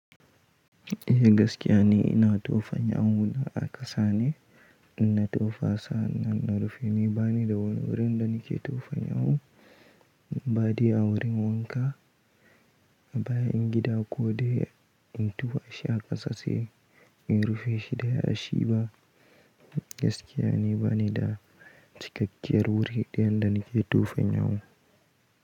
Eh gaskiya ne ina tofa miyau na a ƙasa ne, ina tofa sannan na rufe. Ni bani da wani wurin da nake tofa miyau in badai a wurin wanka. Bayan gida ko dai in tufa shi a ƙasa sai in rufe shi da yashi ba. Gaskiya ni bani da cikakkiyar wuri ɗayan da nake tofa miyau.